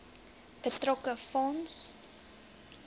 betrokke fonds